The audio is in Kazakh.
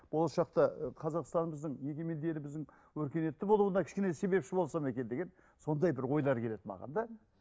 болашақта ы қазақстанымыздың егемен еліміздің өркениетті болуына кішкене себепші болсам екен деген сондай бір ойлар келеді маған да